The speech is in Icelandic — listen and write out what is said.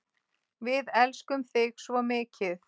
Við elskum þig svo mikið.